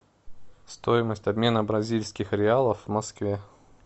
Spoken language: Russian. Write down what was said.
стоимость обмена бразильских реалов в москве